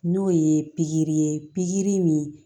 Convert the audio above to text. N'o ye pikiri ye pikiri min